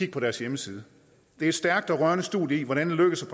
på deres hjemmeside det er et stærkt og rørende studie i hvordan det lykkes at